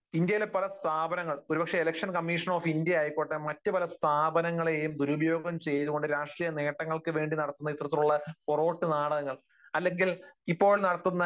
ഇന്ത്യയിലെ പല സ്ഥാപനങ്ങൾ, ഒരുപക്ഷെ ഇലക്ഷൻ കമ്മീഷൻ ഓഫ് ഇന്ത്യ ആയിക്കൊള്ളട്ടെ, മറ്റു പല സ്ഥാപനങ്ങളെയും ദുരുപയോഗം ചെയ്തുകൊണ്ട് രാഷ്ട്രീയ നേട്ടങ്ങൾക്കുവേണ്ടി നടത്തുന്ന ഇത്തരത്തിലുള്ള പൊറോട്ടു നാടകങ്ങൾ അല്ലെങ്കിൽ ഇപ്പോൾ നടത്തുന്ന